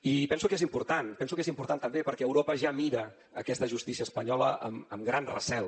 i penso que és important penso que és important també perquè europa ja mira aquesta justícia espanyola amb gran recel